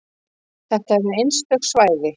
Þetta eru einstök svæði.